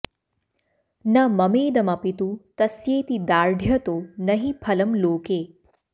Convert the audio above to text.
न ममेदमपि तु तस्येति दार्ढ्यतो न हि फलं लोके